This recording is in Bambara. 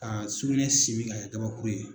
Ka suluɲɛ simin k'a kɛ gabakuru ye